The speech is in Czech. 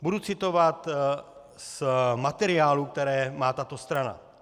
Budu citovat z materiálů, které má tato strana.